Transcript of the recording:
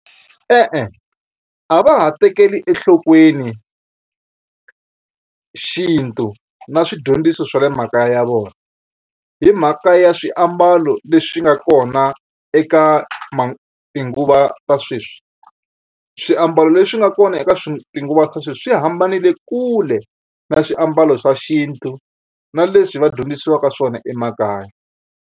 E-e, a va ha tekeli enhlokweni xintu na swidyondziso swa le makaya ya vona hi mhaka ya swiambalo leswi nga kona eka ma tinguva ta sweswi swiambalo leswi nga kona eka tinguva ta sweswi swi hambanele kule na swiambalo swa xintu na leswi va dyondzisiwaka swona emakaya.